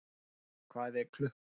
Mirjam, hvað er klukkan?